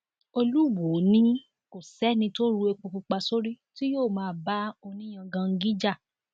olùwọọ ní kò sẹni tó ru epo pupa sórí tí yóò máa bá oníyangangí jà